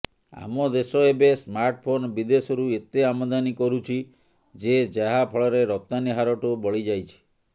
ଆମ ଦେଶ ଏବେ ସ୍ମାର୍ଟଫୋନ ବିଦେଶରୁ ଏତେ ଆମଦାନୀ କରୁଛି ଯେ ଯାହା ଫଳରେ ରପ୍ତାନୀ ହାରଠୁ ବଳିଯାଇଛି